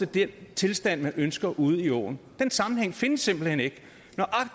den tilstand man ønsker ude i åen den sammenhæng findes simpelt hen ikke